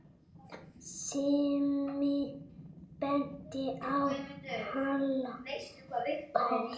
Simmi benti á Halla hor.